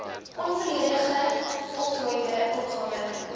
onvolledig voltooide opgawe